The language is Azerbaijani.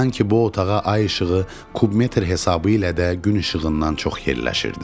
Sanki bu otağa ay işığı kubmetr hesabı ilə də gün işığından çox yerləşirdi.